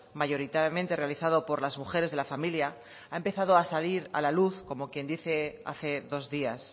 mayoritariamente realizado por las mujeres de la familia ha empezado a salir a la luz como quien dice hace dos días